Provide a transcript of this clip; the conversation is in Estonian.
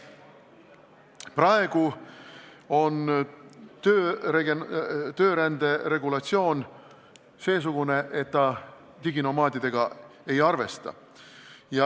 Praegu on töörände regulatsioon seesugune, et see diginomaadidega ei arvesta.